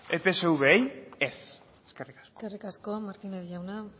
epsvi ez eskerrik asko eskerrik asko martínez jauna